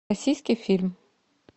российский фильм